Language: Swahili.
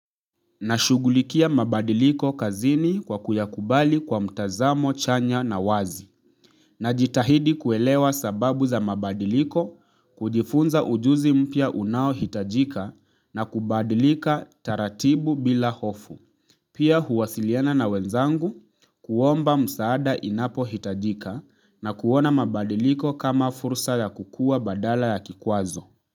Nashugulikia mabadiliko kazini kwa kuyakubali kwa mtazamo, chanya na wazi. Najitahidi kuelewa sababu za mabadiliko kujifunza ujuzi mpya unao hitajika na kubadilika taratibu bila hofu. Pia huwasiliana na wenzangu kuomba msaada inapohitajika na kuona mabadiliko kama fursa ya kukua badala ya kikwazo.